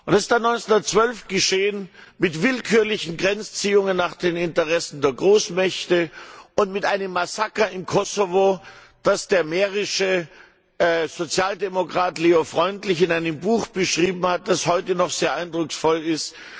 Das ist dann 1912 geschehen mit willkürlichen Grenzziehungen nach den Interessen der Großmächte und mit einem Massaker im Kosovo, das der mährische Sozialdemokrat Leo Freundlich in einem Buch beschrieben hat, das heute noch sehr eindrucksvoll ist.